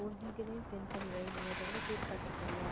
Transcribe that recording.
உன் detail லயும் send வை, நீ கேட்டு பாத்திருக்க இல்ல